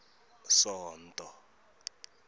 sonto